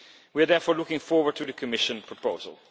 We are therefore looking forward to the Commission proposal.